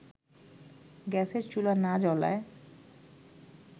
গ্যাসের চুলা না জ্বলায়